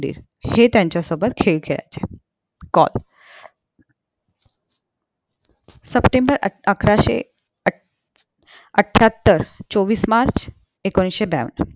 हे त्यांच्या सोबत खेळ खेळायचे call september अकराशें आठ अठ्यातर चोवीस march एकोणविशे